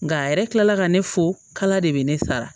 Nka a yɛrɛ kilala ka ne fo kala de bɛ ne sara